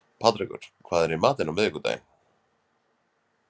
Patrekur, hvað er í matinn á miðvikudaginn?